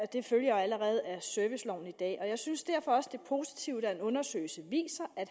det følger jo allerede af serviceloven i dag jeg synes derfor også det positivt at en undersøgelse viser at